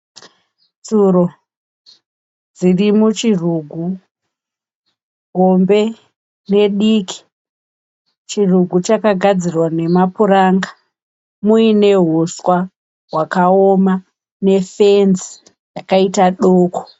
Tsuro dziri muchirugu hombe nediki chirugu chakagadzirwa nemapuranga muine huswa hwakaoma nefenzi yakaita doko.